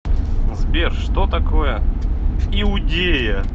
сбер что такое иудея